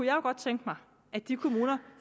jo godt tænke mig at de kommuner